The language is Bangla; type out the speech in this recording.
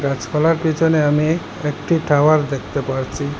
গাছপালার পেছনে আমি একটি টাওয়ার দেখতে পারছি।